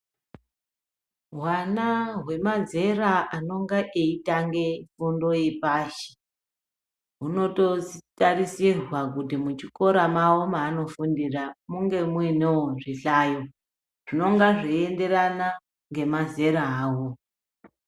Hwana hwemazera anenge etanga fundo yepashi hunototarisirwa kuti muchikora mavo mavanofundira munge mune zvihlayo zvinonga zveienderana nemazera avo.